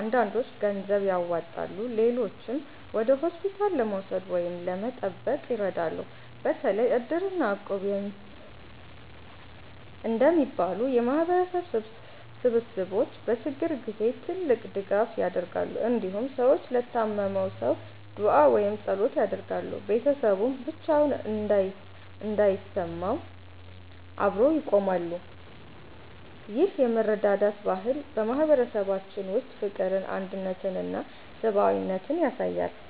አንዳንዶች ገንዘብ ያዋጣሉ፣ ሌሎችም ወደ ሆስፒታል ለመውሰድ ወይም ለመጠበቅ ይረዳሉ። በተለይ Iddir እና Equb እንደሚባሉ የማህበረሰብ ስብስቦች በችግር ጊዜ ትልቅ ድጋፍ ያደርጋሉ። እንዲሁም ሰዎች ለታመመው ሰው ዱዓ ወይም ጸሎት ያደርጋሉ፣ ቤተሰቡም ብቻውን እንዳይሰማው አብረው ይቆማሉ። ይህ የመረዳዳት ባህል በማህበረሰባችን ውስጥ ፍቅርን፣ አንድነትን እና ሰብአዊነትን ያሳያል።